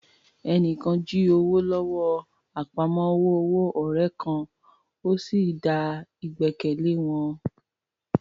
Ẹni kan jí owó lọ́wọ́ àpamọ́wọ́ ọ̀rẹ́ kan, ó sì da ìgbẹ́kẹ̀lé wọn